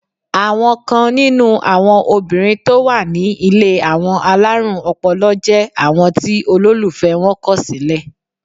Àwọn kan nínú àwọn obìnrin tó wà ní ilé àwọn alárùn ọpọlọ jẹ́ àwọn tí olólùfẹ́ wọn kọ̀ sílẹ̀.